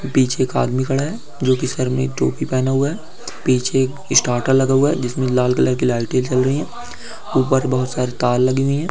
पीछे एक आदमी खड़ा है जो कि सिर में टोपी पहना हुआ है पीछे एक स्टार्टर लगा हुआ जिसमें लाल कलर की लाइटें चल रही है ऊपर बहुत सारी तार लगी हुई हैं ।